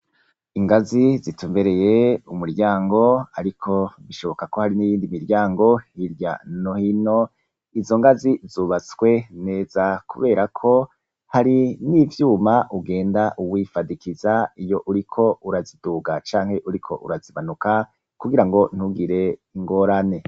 Ingazi zitumbereye umuryango ariko bishoboka ko hariyo iyindi miryango hirya no hino, izo ngazi zubatswe neza kubera ko hari n'ivyuma ugenda wifadikiza iyo uriko uraziduga canke uriko urazibanuka kugirango ntugire ingorane.